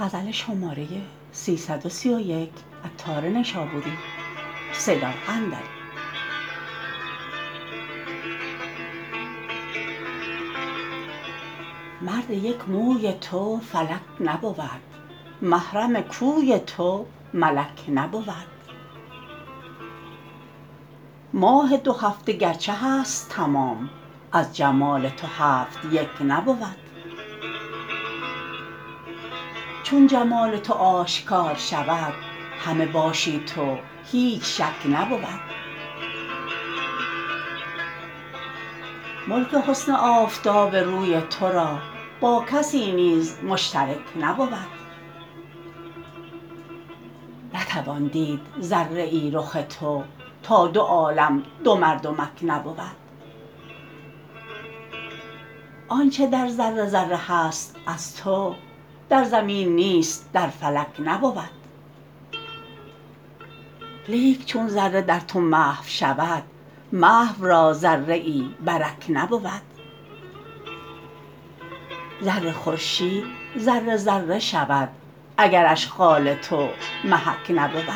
مرد یک موی تو فلک نبود محرم کوی تو ملک نبود ماه دو هفته گرچه هست تمام از جمال تو هفت یک نبود چون جمال تو آشکار شود همه باشی تو هیچ شک نبود ملک حسن آفتاب روی تورا با کسی نیز مشترک نبود نتوان دید ذره ای رخ تو تا دو عالم دو مردمک نبود آنچه در ذره ذره هست از تو در زمین نیست در فلک نبود لیک چون ذره در تو محو شود محو را ذره ای برک نبود زر خورشید ذره ذره شود اگرش خال تو محک نبود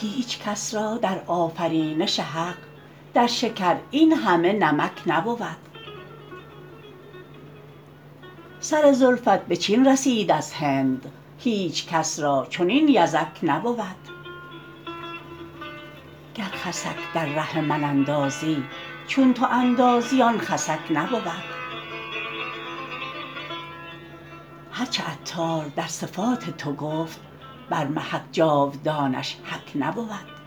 هیچکس را در آفرینش حق در شکر این همه نمک نبود سر زلفت به چین رسید از هند هیچکس را چنین یزک نبود گر خسک در ره من اندازی چون تو اندازی آن خسک نبود هرچه عطار در صفات تو گفت بر محک جاودانش حک نبود